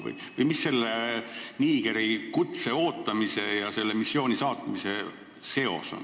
Või mis seos selle Nigeri kutse ja missioonile saatmise vahel on?